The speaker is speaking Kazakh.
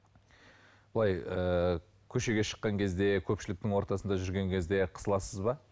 былай ыыы көшеге шыққан кезде көпшіліктің ортасында жүрген кезде қысыласыз ба